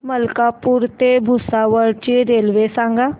मलकापूर ते भुसावळ ची रेल्वे सांगा